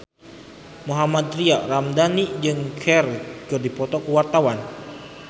Mohammad Tria Ramadhani jeung Cher keur dipoto ku wartawan